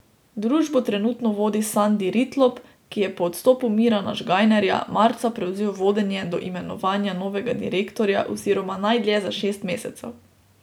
Družbo trenutno vodi Sandi Ritlop, ki je po odstopu Mirana Žgajnerja marca prevzel vodenje do imenovanja novega direktorja oziroma najdlje za šest mesecev.